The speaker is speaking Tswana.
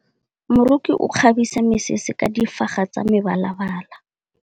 Moroki o kgabisa mesese ka difaga tsa mebalabala.